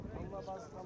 Amma o qədər.